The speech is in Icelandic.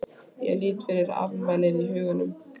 Ég lít yfir afmælið í huganum.